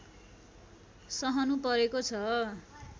सहनुपरेको छ